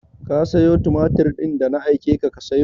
Ka sayo tumatir din da na aike ka ka sayo?